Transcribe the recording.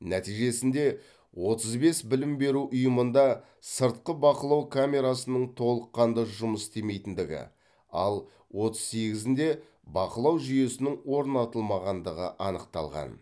нәтижесінде отыз бес білім беру ұйымында сыртқы бақылау камерасының толыққанды жұмыс істемейтіндігі ал отыз сегізінде бақылау жүйесінің орнатылмағандығы анықталған